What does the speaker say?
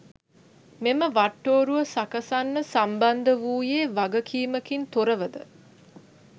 මෙම වට්ටෝරුව සකසන්න සම්බන්ධ වූයේ වගකීමකින් තොරවද?